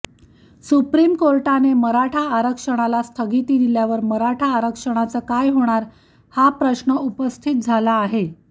supreme कोर्टाने मराठा आरक्षणाला स्थगिती दिल्यावर मराठा आरक्षणाचं काय होणार हा प्रश्न उपस्थित झाला आहे